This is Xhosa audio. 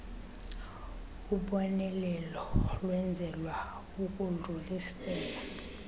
ubonelelo lwenzelwa ukudlulisela